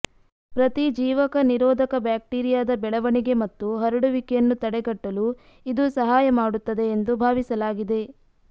ಪ್ರತಿಜೀವಕ ನಿರೋಧಕ ಬ್ಯಾಕ್ಟೀರಿಯಾದ ಬೆಳವಣಿಗೆ ಮತ್ತು ಹರಡುವಿಕೆಯನ್ನು ತಡೆಗಟ್ಟಲು ಇದು ಸಹಾಯ ಮಾಡುತ್ತದೆ ಎಂದು ಭಾವಿಸಲಾಗಿದೆ